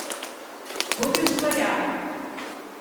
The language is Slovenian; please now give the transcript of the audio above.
Bodi ustvarjalen!